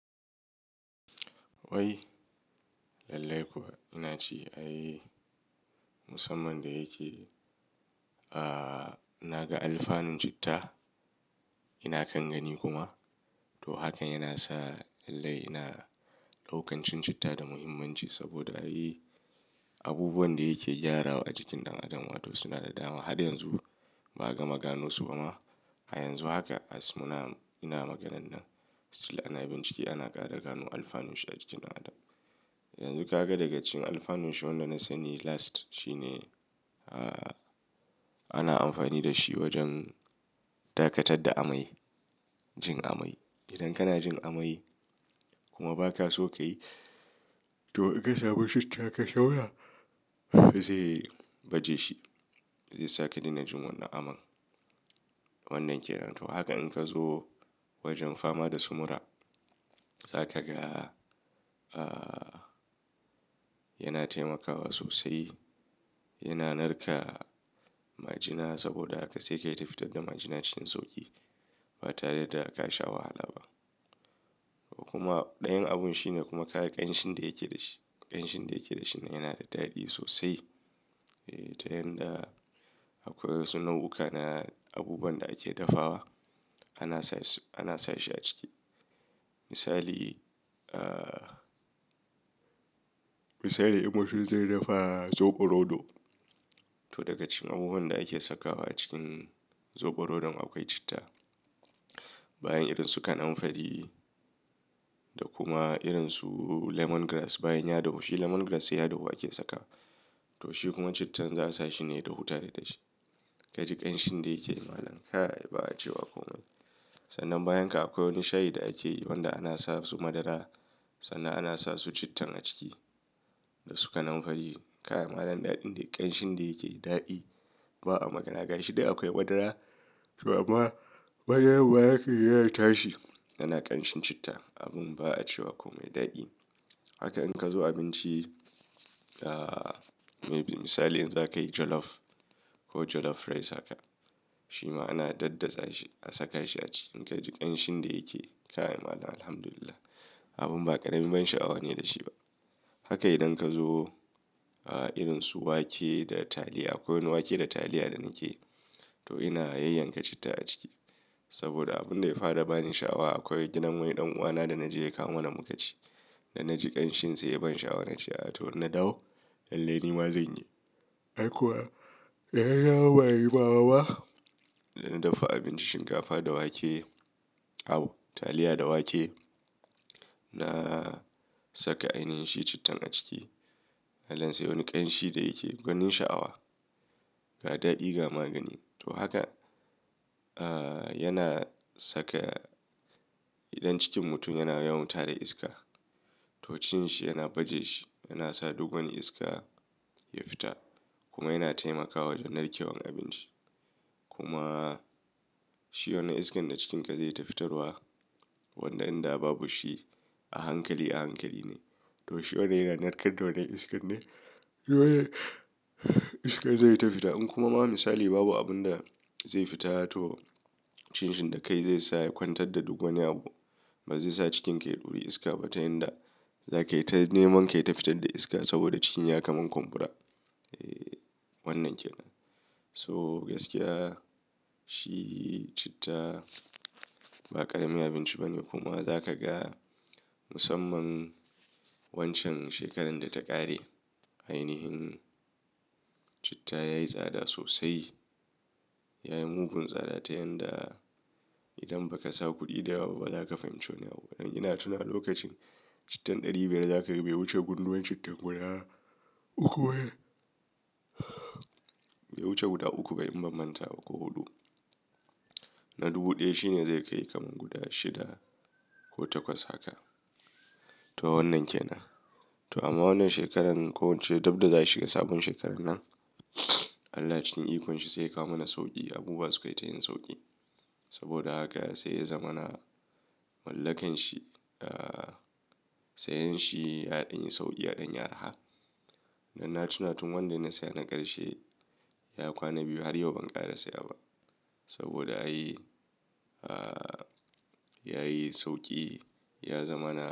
Wai, lallai kuwa ina ci ai musamman da yake, naga alfanun citta, ina kangani kuma. To hakan yana sa lallai ina ɗaukancin citta da muhimmanci saboda ayi abubuwan da yake gyarawa a jikin ɗan adam wato suna da dama. Har yanzu ba'a ga magano su ba ma. A yanzu haka mu na, ina maganar nan, still ana bin ciki ana ƙara gano alfanun shi a jikin ɗan adam. Yanzu ka ga daga cikin alfanun shi wanda na sani last shine, ana amfani da shi wajen dakatar da amai, jin amai. Idan kana jin amai kuma ba ka so ka yi to in ka samu citta ka tauna zai baje shi, zai sake ni na jin wannan aman. Wannan ke nan. To haka in ka zo wajen fama da sumura za ka ga, yana taimakawa sosai, yana narka majina saboda haka sai ka yi ta fitar da majina cikin sauƙi ba tare da aka sha wahala ba. Kuma ɗayan abun shine kuma ka ga ƙanshin da yake da shi. Ƙanshin da yake da shi yana da daɗi sosai. Ta yanda akwai wasu nau'uka na abubuwan da ake dafawa ana sa shi, ana sa shi a ciki. Misali, ah misali idan mun zai dafa zoɓo roɗo to daga cikin abubuwan da ake sakawa cikin zoɓo roɗon akwai citta. Bayan irin su kanamfari da kuma irin su lemon grass bayan ya dahu. Shi lemon grass sai ya dahu ake saka to shi kuma cittan za a sa shi ne ya da hutare da dashi. Ka ji ƙanshin da yake yi malam kai ba a cewa kome. Sannan bayan ka akwai wani shayi da ake yi wanda ana sa su madara sannan ana sa su cittan a ciki da su kanamfari. Kai malam ɗan daɗin ƙanshin da yake yi daɗi ba'a magana. Gashi duk akwai madara to amma madaran ba yake ƙara tashi yana ƙanshin citta. Abun ba a cewa kome daɗi. Haka in ka zo abinci, maybe misali in za ka yi jollof ko jollof rice haka shi ma ana daddatsa shi a saka shi a ciki. In ka ji ƙanshin da yake yi kai malam Alhamdulillah abun ba ƙaramin ban sha'awa ne da shi ba. Haka idan ka zo irin su wake da taliya akwai wani wake da taliya da nake yi to ina yayyanka citta a ciki. Saboda abun da ya fara bani sha'awa akwai gidan wani ɗan uwana da na je ya kawo mana mu ka ci. Da na ji ƙanshin sa ya ban sha'awa na ce a to ina dawo lallai ni ma zan yi. Ai kuwa, ya dana dawo ba da jimawa ba? Da na dafa abinci shinkafa da wake, au, taliya da wake na saka ainihin shi cittan a ciki. Malan sai wani ƙanshi da yake gwanin sha'awa, ga daɗi ga magani. To haka, yana saka idan cikin mutum yana yawan tara iska to cin shi yana baje shi yana sa duk wani iska ya fita kuma yana taimakawa wajen narkewan abinci. Kuma shi wannan iskan na cikin ka zai tafi fitarwa wanda in da babu shi a hankali a hankali ne. To shi wanda yana narkarda wannan iskan ne wanda iskan zai tafi fita. In kuma ba misali babu abun da zai fita to cikin shin da kai zai sa ya kwantar da duk wani abu ba zai sa cikin ka ya duri iska ba ta yanda za ka yi ta neman ka tafi fitar da iska saboda cikin ya kama kumbura. Eh wannan ke nan. So gaskiya shi citta ba ƙarami abinci ba ne kuma za ka ga musamman wancan shekarar da ta ƙare ainihin citta ya yi tsada sosai. Ya yi mugun tsada ta yanda idan ba ka sa kuɗi da yawa ba ba za ka fahimci wane abu. Ina tuna lokacin cittan ɗari biyar za ka ga bai wuce gunduwan citta guda uku ba. Bai wuce guda uku bai in ba manta ba ko huɗu. Na dubu ɗaya shi ne zai kai kamar guda shida ko takwas haka. To wannan ke nan. To amma wannan shekarar ko wacce dabda za a shiga sabon shekarar nan Allah cikin ikon shi sai ya kawo mana sauƙi. Abubuwa su kai ta yin sauƙi saboda haka sai ya zama na mallakan shi. Sai yin shi ya ɗan yi sauƙi ya ɗan yi araha. Dan na tuna tun wanda na saya na ƙarshe ya kwana biyu har yau ban ƙara saya ba saboda ayi, ayi sauƙi ya zama na.